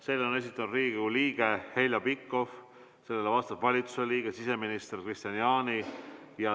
Selle on esitanud Riigikogu liige Heljo Pikhof ja sellele vastab valitsuse liige siseminister Kristian Jaani.